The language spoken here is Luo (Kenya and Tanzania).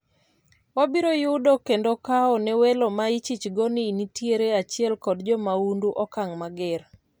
Wabiro yudo kendo kawo ne welo ma ichichgo ni nitiere achiel kod jomaundu okang' mager